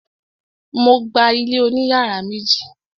Mo gba ilé oní yàrá méjì.